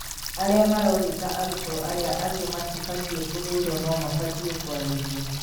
aria marogita arutwo aria angĩ matibatie kũhũrwo no mabatie kwarĩrio.